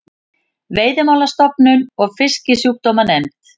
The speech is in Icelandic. Veiðimálastofnun og Fisksjúkdómanefnd.